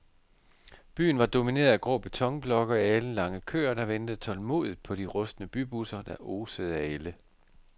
Byen var domineret af grå betonblokke og alenlange køer, der ventede tålmodigt på de rustne bybusser, der osede af ælde.